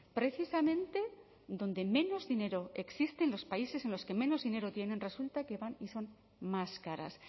precisamente donde menos dinero existe en los países en los que menos dinero tienen resulta que van y son más caras